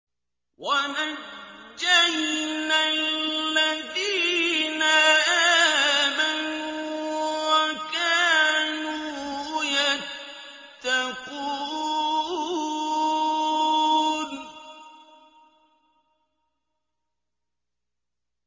وَنَجَّيْنَا الَّذِينَ آمَنُوا وَكَانُوا يَتَّقُونَ